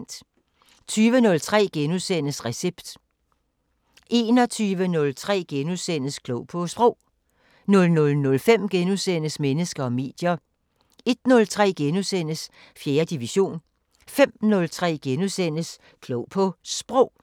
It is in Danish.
20:03: Recept * 21:03: Klog på Sprog * 00:05: Mennesker og medier * 01:03: 4. division * 05:03: Klog på Sprog *